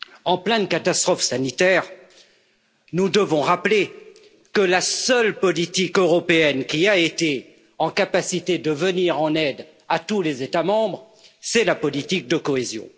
En pleine catastrophe sanitaire, nous devons rappeler que la seule politique européenne qui a été en capacité de venir en aide à tous les États membres, c'est la politique de cohésion.